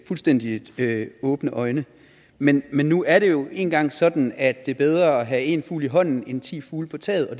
fuldstændig åbne øjne men men nu er det jo en gang sådan at det er bedre at have en fugl i hånden end ti fugle på taget og